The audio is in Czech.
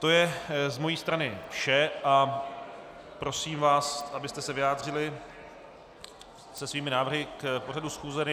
To je z mé strany vše a prosím vás, abyste se vyjádřili se svými návrhy k pořadu schůze.